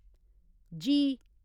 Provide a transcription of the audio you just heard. जी